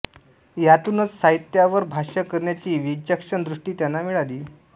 यातूनच साहित्यावर भाष्य करण्याची विचक्षण दृष्टी त्यांना मिळाली